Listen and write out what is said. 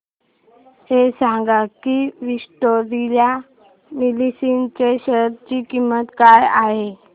हे सांगा की विक्टोरिया मिल्स च्या शेअर ची किंमत काय आहे